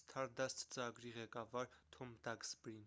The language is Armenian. սթարդասթ ծրագրի ղեկավար թոմ դաքսբրին: